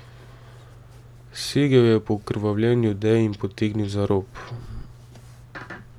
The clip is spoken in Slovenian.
Segel je po okrvavljeni odeji in potegnil za rob.